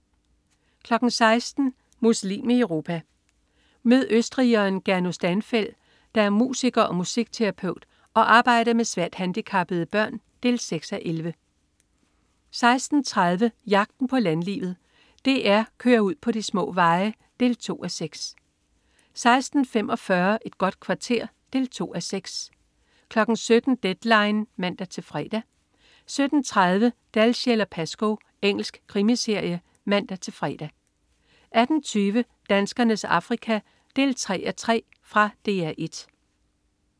16.00 Muslim i Europa. Mød østrigeren Gernot Stanfel, der er musiker og musikterapeut, og arbejder med svært handicappede børn. 6:11 16.30 Jagten på landlivet. DR kører ud på de små veje. 2:6 16.45 Et godt kvarter. 2:6 17.00 Deadline 17:00 (man-fre) 17.30 Dalziel & Pascoe. Engelsk krimiserie (man-fre) 18.20 Danskernes Afrika 3:3. Fra DR 1